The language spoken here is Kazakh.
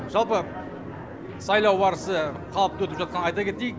жалпы сайлау барысы қалыпты өтіп жатқанын айта кетейік